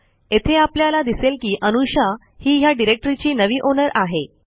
येथे आपल्याला दिसेल की अनुषा ही ह्या डिरेक्टरीची नवी ओनर आहे